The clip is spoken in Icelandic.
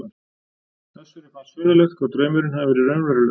Össuri fannst furðulegt hvað draumurinn hafði verið raunverulegur.